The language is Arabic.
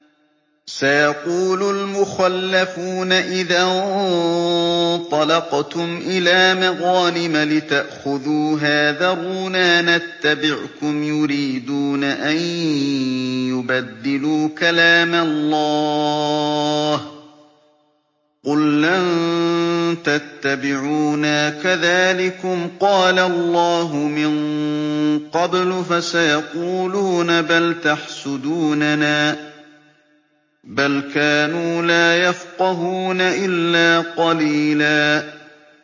سَيَقُولُ الْمُخَلَّفُونَ إِذَا انطَلَقْتُمْ إِلَىٰ مَغَانِمَ لِتَأْخُذُوهَا ذَرُونَا نَتَّبِعْكُمْ ۖ يُرِيدُونَ أَن يُبَدِّلُوا كَلَامَ اللَّهِ ۚ قُل لَّن تَتَّبِعُونَا كَذَٰلِكُمْ قَالَ اللَّهُ مِن قَبْلُ ۖ فَسَيَقُولُونَ بَلْ تَحْسُدُونَنَا ۚ بَلْ كَانُوا لَا يَفْقَهُونَ إِلَّا قَلِيلًا